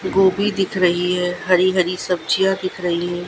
गोभी दिख रही है हरी हरी सब्जियां दिख रही है।